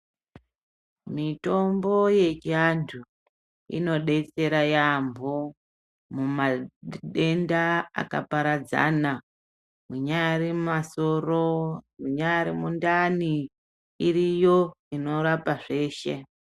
Mitombo yechianthu inodetsera yaambo mumadenda akaparadzans mwinyari masoro minyari mundani iriyo inorapa zveshe.